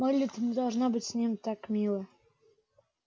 мелли ты не должна быть с ним так мила